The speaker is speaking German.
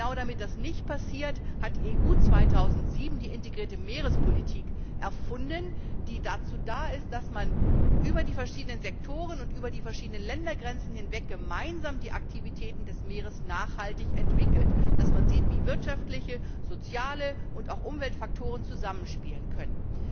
Damit genau das nicht passiert, hat die EU 2007 die integrierte Meerespolitik erfunden, die dazu da ist, dass man über die verschiedenen Sektoren und Ländergrenzen hinweg gemeinsam die Aktivitäten des Meeres nachhaltig entwickelt, dass man sieht, wie wirtschaftliche, soziale und auch Umweltfaktoren zusammenspielen können.